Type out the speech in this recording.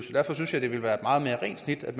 derfor synes jeg det ville være et meget mere rent snit at